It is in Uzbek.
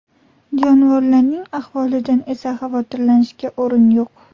Jonivorlarning ahvolidan esa xavotirlanishga o‘rin yo‘q.